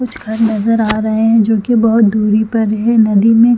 कुछ घर नज़र आ रहे है जो की बहोत दुरी पर है नदी में--